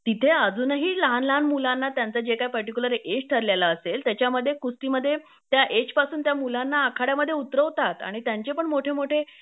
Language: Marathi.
तिथे अजूनही लहान लहान मुलांना त्यांचं जे काही पर्टिक्युलर एज ठरलेलं असेल त्याच्यामध्ये कुस्तीमध्ये त्या एजपासून त्या मुलांना आखाड्यामध्ये उतरवतात आणि त्यांचे पण मोठे मोठे